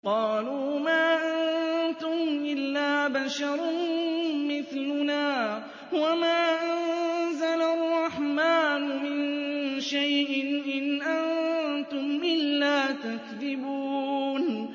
قَالُوا مَا أَنتُمْ إِلَّا بَشَرٌ مِّثْلُنَا وَمَا أَنزَلَ الرَّحْمَٰنُ مِن شَيْءٍ إِنْ أَنتُمْ إِلَّا تَكْذِبُونَ